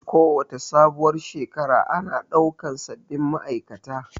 Kowace sabuwar Shekara ana ɗaukan sabin ma'aikata